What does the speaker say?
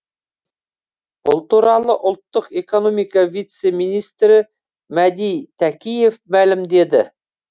бұл туралы ұлттық экономика вице министрі мәди тәкиев мәлімдеді